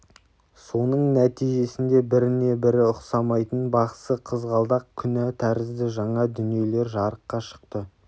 соның нәтижесінде біріне-бірі ұқсамайтын бақсы қызғалдақ күнә тәрізді жаңа дүниелер жарыққа шықты